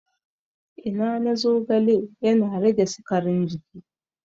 Ina na zogale yana rage sikarin jini